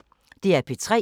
DR P3